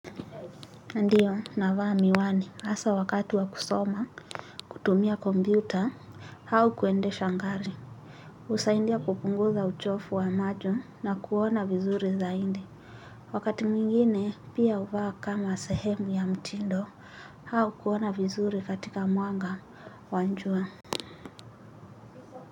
Ndiyo, navaa miwani, asa wakati wa kusoma, kutumia kombiuta, hao kuende sha ngari. Usaindia kupunguza uchofu wa majo na kuona vizuri zainde. Wakati mwingine, pia uvaa kama sehemu ya mtindo, hao kuona vizuri katika muanga wanjua.